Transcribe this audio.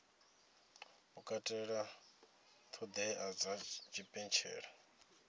u katela ṱhoḓea dza tshipentshela